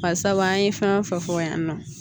Barisabu an ye fɛn o fɛn fɔ yan nɔ